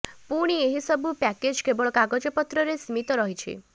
ପୁଣି ଏହି ସବୁ ପ୍ୟାକେଜ୍ କେବଳ କାଗଜପତ୍ରରେ ସୀମିତ ରହିଛି